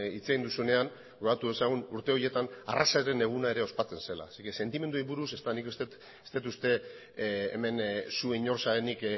hitz egin duzuenean gogoratu dezagun urte horietan arrazaren eguna ospatzen zela sentimenduei buruz ez dut nik uste dut ez dut uste hemen zu inor zarenik